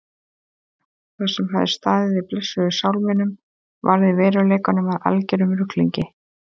Það sem hafði staðið í blessuðum sálminum varð í veruleikanum að algerum ruglingi.